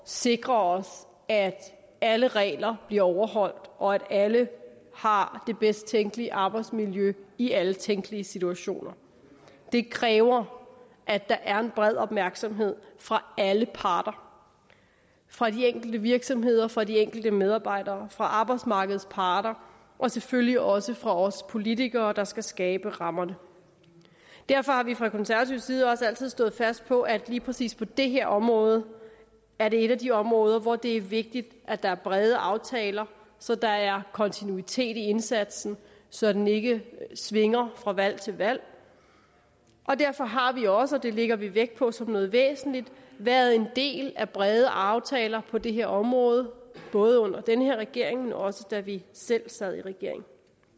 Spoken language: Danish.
sikre os at alle regler bliver overholdt og at alle har det bedst tænkelige arbejdsmiljø i alle tænkelige situationer det kræver at der er en bred opmærksomhed fra alle parter fra de enkelte virksomheder fra de enkelte medarbejdere fra arbejdsmarkedets parter og selvfølgelig også fra os politikere der skal skabe rammerne derfor har vi fra konservativ side også altid stået fast på at lige præcis det her område er et af de områder hvor det er vigtigt at der er brede aftaler så der er kontinuitet i indsatsen så den ikke svinger fra valg til valg og derfor har vi også og det lægger vi vægt på som noget væsentligt været en del af brede aftaler på det her område både under den her regering men også da vi selv sad i regering